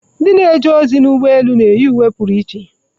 Ndị na-eje ozi ụgbọ elu na-eyi uwe pụrụ iche